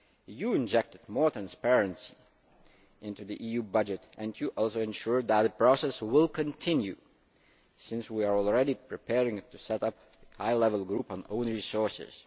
You have injected more transparency into the EU budget and you also ensured that the process will continue, since we are already preparing to set up a high level group on own resources.